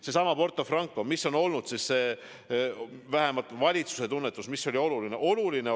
Seesama Porto Franco – mis on vähemalt valitsuse tunnetuse kohaselt oluline?